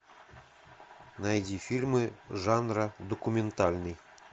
найди фильмы жанра документальный